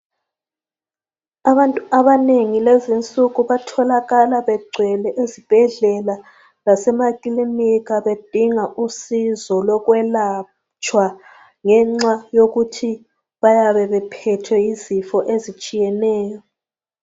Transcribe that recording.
Abantu abanengi lezi nsuku batholakala begcwele ezibhedlela lasemakilinika bedinga usizo lokwelatshwa, ngenxa yokuthi bayabe bephethwe yizifo ezitshiyeneyo.